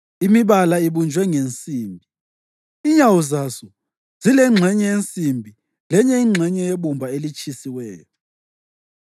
imibala ibunjwe ngensimbi, inyawo zaso zilengxenye yensimbi lenye ingxenye yebumba elitshisiweyo.